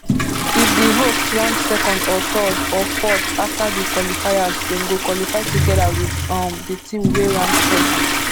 if di host rank second or third or fourth afta di qualifiers dem go qualify togeda wit um di team wey rank first